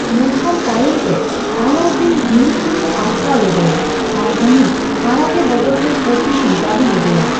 ᱢᱮᱱᱠᱷᱟᱱ ᱛᱟᱭᱚᱢᱛᱮ, ᱟᱞᱟᱩᱫᱫᱤᱱ ᱵᱷᱤᱢ ᱥᱤᱝᱮ ᱟᱴᱠᱟᱣ ᱞᱮᱫᱮᱭᱟ ᱟᱨ ᱩᱱᱤ ᱟᱲᱟᱜᱮ ᱵᱚᱫᱚᱞᱛᱮ ᱯᱚᱫᱫᱤᱱᱤᱭ ᱫᱟᱵᱤ ᱞᱮᱫᱮᱭᱟ ᱾